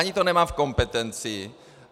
Ani to nemám v kompetenci.